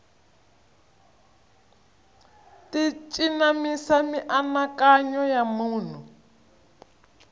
ti cinamisa mianakanyo ya munhu